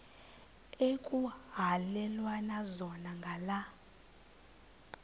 ekuhhalelwana zona ngala